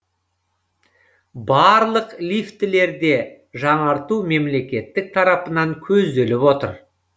барлық лифтілерді жаңарту мемлекет тарапынан көзделіп отыр